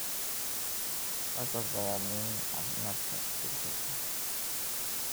Qasabka waa muhiim caafimaadka jirka.